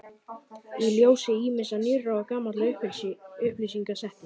Í ljósi ýmissa nýrra og gamalla upplýsinga setti